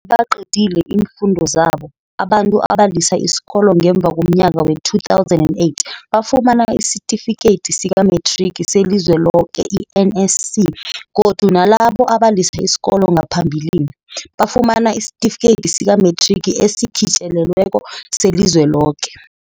Nasele baqede iimfundo zabo, abantu abalisa isikolo ngemva komnyaka wee-2008 bafumana isiTifikedi sikaMethrigi seliZweloke, i-NSC, godu nalabo abalisa isikolo ngaphambilini, bafumana isiTifikedi sikaMethrigi esiKhitjelelweko seliZweloke.